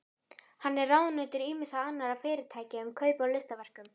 Hann er ráðunautur ýmissa annarra fyrirtækja um kaup á listaverkum.